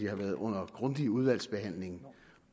har været under grundig udvalgsbehandling